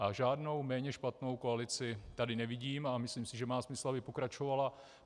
A žádnou méně špatnou koalici tady nevidím a myslím si, že má smysl, aby pokračovala.